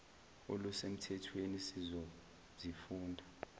oluse mthethweni sizozifunda